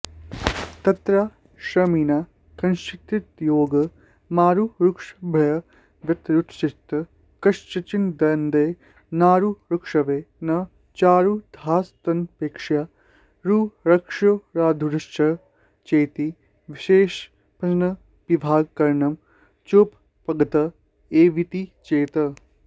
तत्राश्रमिणां कश्चिद्योगमारुरुक्षुर्भवत्यारूढश्च कश्चिदन्ये नारुरुक्षवो न चारूढास्तानपेक्ष्यारुरुक्षोरारूढस्य चेति विशेषणंयविभागकरणं चोपपद्यत एवेति चेत्